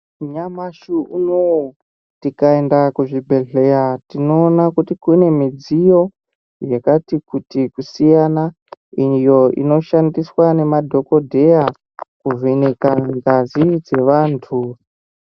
Nyamashi unouyu tikaenda kuzvibhedhleya tinoona kuti kune midziyo yakati kuti kusiyana. Iyo inoshandiswa nemadhokodheya kuvheneka ngazi dzevantu.